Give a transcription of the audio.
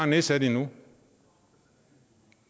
nedsat endnu